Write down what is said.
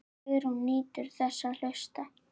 Sigrún nýtur þess að hlusta.